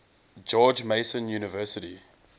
george mason university